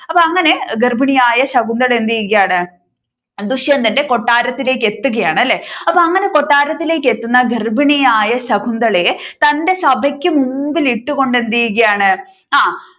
അപ്പൊ അങ്ങനെ ഗർഭിണി ആയ ശകുന്തള എന്ത് ചെയ്യുകയാണ് ദുഷ്യന്തന്റെ കൊട്ടാരത്തിലേക്കു എത്തുകയാണ് അല്ലെ അപ്പൊ അങ്ങനെ കൊട്ടാരത്തിലേക്ക് എത്തുന്ന ഗർഭിണി ആയ ശകുന്തളയെ തന്റെ സ്‌ഥയ്‌ക്ക്‌ മുൻപിൽ ഇട്ടുകൊണ്ട് എന്ത് ചെയ്യുകയാണ് ആഹ്